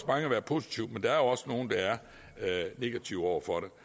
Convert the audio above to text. mange der er positive men der er jo også nogle der er negative over for